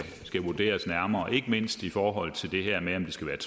vurderes nærmere ikke mindst i forhold til det her med om det skal